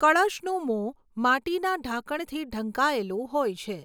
કળશનું મોં માટીના ઢાંકણથી ઢંકાયેલું હોય છે.